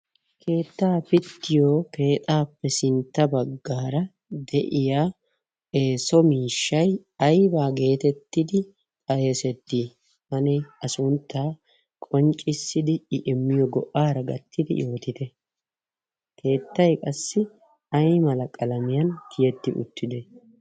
keettaa pittiyo keexaappe sintta baggaara de7iya eso miishshai aibaa geetettidi xaeesettii anee a sunttaa qonccissidi i immiyo go''aara gattidi ootite keettai qassi ai malaqalamiyan kiyetti uttite?